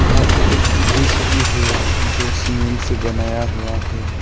यहां पे एक ब्रिज भी है जो सीमेंट से बनाया हुआ है।